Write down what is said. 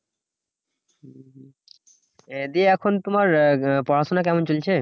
এ দিয়ে এখন তোমার পড়াশোনা কেমন চলছে?